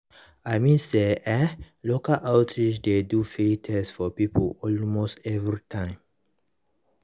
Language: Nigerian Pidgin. i mean eh local outreach dey do free test for people almost every time.